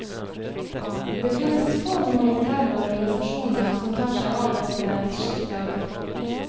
Det finnes få humanitære organisasjoner som tar seg av dette skiktet av befolkning.